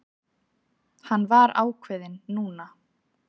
Hann var ákveðinn núna.